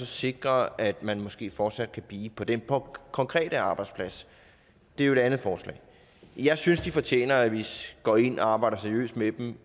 sikre at man måske fortsat kan blive på den konkrete arbejdsplads det er jo et andet forslag jeg synes de fortjener at vi går ind og arbejder seriøst med dem